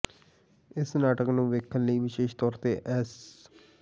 ਇਸ ਨਾਟਕ ਨੂੰ ਵੇਖਣ ਲਈ ਵਿਸ਼ੇਸ਼ ਤੌਰ ਤੇ ਐਸ